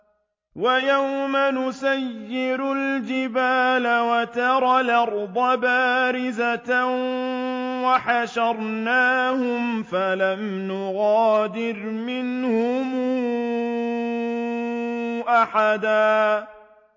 وَيَوْمَ نُسَيِّرُ الْجِبَالَ وَتَرَى الْأَرْضَ بَارِزَةً وَحَشَرْنَاهُمْ فَلَمْ نُغَادِرْ مِنْهُمْ أَحَدًا